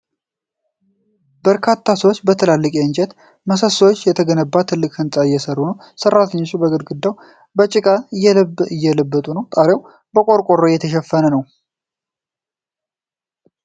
በርካታ ሰዎች በትላልቅ የእንጨት ምሰሶዎች የተገነባ ትልቅ ሕንፃ እየሠሩ ነው። ሠራተኞቹ ግድግዳውን በጭቃ እየለበጡት ነው፤ ጣሪያው በቆርቆሮ የተሸፈነ ነው ።